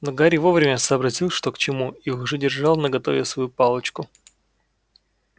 но гарри вовремя сообразил что к чему и уже держал наготове свою палочку